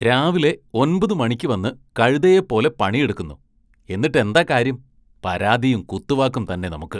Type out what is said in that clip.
രാവിലെ ഒൻപത് മണിക്ക് വന്ന് കഴുതയെ പോലെ പണിയെടുക്കുന്നു, എന്നിട്ടെന്താ കാര്യം, പരാതിയും കുത്തുവാക്കും തന്നെ നമുക്ക്